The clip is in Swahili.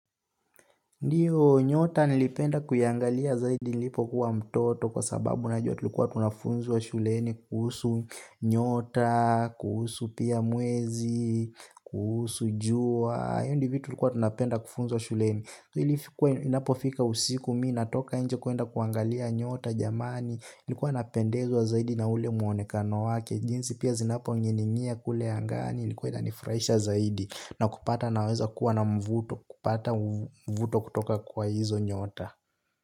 Ndiyo, nyota nilipenda kuziangalia zaidi nilipokuwa mtoto kwa sababu najua tulikuwa tunafundishwa shuleni kuhusu nyota, kuhusu pia mwezi, kuhusu jua, hivyo ndivyo vitu tulivyokuwa tunapenda kufundishwa shuleni. Wakati ilipokuwa inafika usiku mimi natoka nje kwenda kuangalia nyota jamani. Ilikuwa napendezwa zaidi na ule muonekano wake. Jinsi pia zinaning'inia kule angani ilikuwa inanifurahisha zaidi. Na kupata naweza kuwa na mvuto, kupata mvuto kutoka kwa hizo nyota.